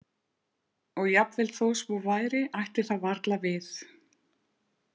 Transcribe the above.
Og jafnvel þó svo væri ætti það varla við.